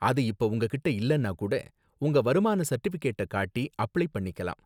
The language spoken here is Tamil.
அது இப்ப உங்ககிட்ட இல்லனா கூட, உங்க வருமான சர்டிபிகேட்ட காட்டி அப்ளை பண்ணிக்கலாம்